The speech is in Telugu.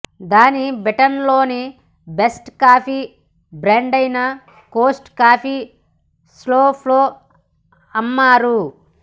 దాన్ని బ్రిటన్లోని బెస్ట్ కాఫీ బ్రాండైన కోస్టా కాఫీ షాప్లో అమ్మారు